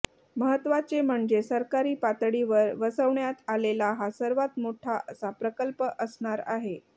महत्वाचे म्हणजे सरकारी पातळीवर वसवण्यात आलेला हा सर्वात मोठा असा प्रकल्प असणार आहे